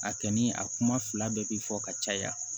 A kɔni a kuma fila bɛɛ bi fɔ ka caya